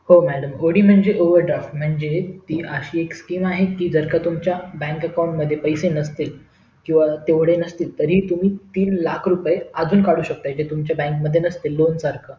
हो madamod म्हणजे overdraft म्हणजे ती एक अशी skem आहे कि जर का तुमच्या bank account मध्ये पैसे नसतील किंवा तेवढे नसतील तरी तुम्ही तीन लाख रुपये आजुन काढु शेकता इथे तुमच्या bank मध्ये नसतील lone सारखं